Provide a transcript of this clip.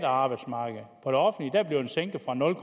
arbejdsmarked bliver den sænket fra nul